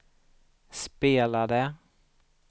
spelade